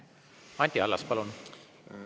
Anti Allas, palun!